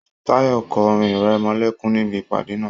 Tayọ kọ orin-ìrẹmọlẹ́kún níbí ìpàdé náà.